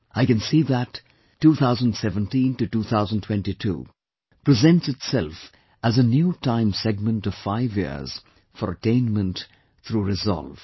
I can see that 2017 to 2022 presents itself as a new time segment of five years for attainment through resolve